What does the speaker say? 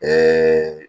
Ɛɛ